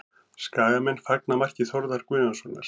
Skagamenn fagna marki Þórðar Guðjónssonar